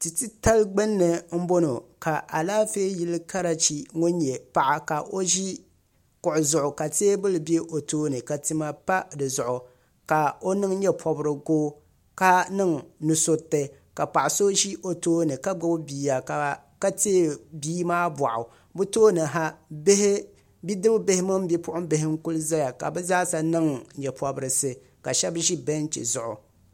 tia titali gbunni n bɔŋɔ ka Alaafee yili karachi ŋun nyɛ paɣa ka o ʒi kuɣu zuɣu ka teebuli bɛ o tooni ka tima pa dizuɣu ka o niŋ nyɛ pobirigu ka niŋ nusuriti paɣa so ʒi o tooni ka gbubi bia ka tiɛ bia maa boɣu bi tooni ha bidib bihi mini bipuɣunbihi n ku ʒɛya ka bi zaaha niŋ nyɛ pobirisi ka ʒi kuɣusi zuɣu